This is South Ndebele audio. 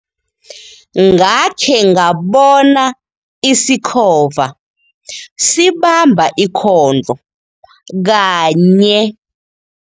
Ngakhe ngabona isikhova sibamba ikhondlo kanye.